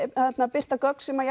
birta gögn sem